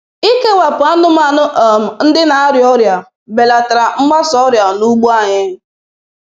Ikewapụ anụmanụ um ndị na-arịa ọrịa belatara mgbasa ọrịa n'ugbo anyị.